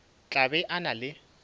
tla be a na le